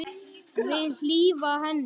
Vil hlífa henni.